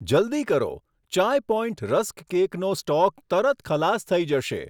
જલદી કરો, Chai Point rusk કેકનો સ્ટોક તરત ખલાસ થઈ જશે.